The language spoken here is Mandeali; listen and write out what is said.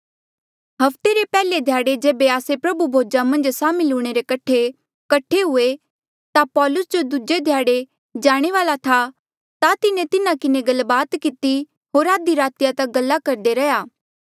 हफ्ते रे पैहले ध्याड़े जेबे आस्से प्रभु भोजा मन्झ सामिल हूणे रे कठे कठे हुए ता पौलुस जो दूजे ध्याड़े जाणे वाल्आ था ता तिन्हें तिन्हा किन्हें गलबात किती होर आधी रातिया तक गल्ला करदा रैंहयां